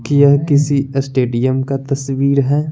यह किसी स्टेडियम का तस्वीर है।